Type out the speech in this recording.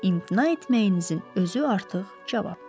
amma imtina etməyinizin özü artıq cavabdır.